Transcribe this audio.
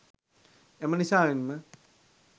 එම නිසාවෙන් ම